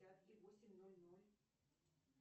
да